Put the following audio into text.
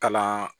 Kalan